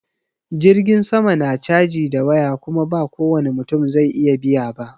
Jirgin sama na caji da yawa Kuma ba kowani mutum zai iya biya ba.